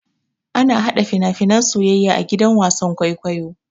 Ana hada fina-finan soyayya a gidan wasan kwaikwayo.